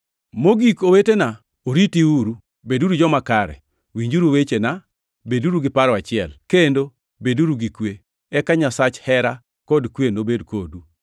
Mogik owetena, oritiuru. Beduru joma kare, winjuru wechena, beduru gi paro achiel, kendo beduru gi kwe. Eka Nyasach hera kod kwe nobed kodu.